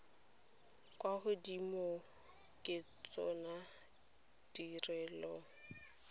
kwa godimo ke tsona ditirelo